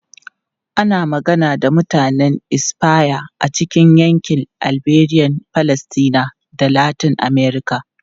Ana magana da Mutanen Espanya a cikin yankin Iberian Peninsula da Latin Amurka.